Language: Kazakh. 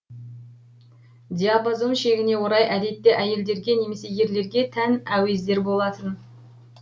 диапазон шегіне орай әдетте әйелдерге немесе ерлерге тән әуездер болатын